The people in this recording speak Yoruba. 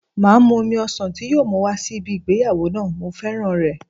Máa mú omi ọsàn tí yóò mú wá sí ibi ìgbéyàwó náà, mo féràn rẹ̀.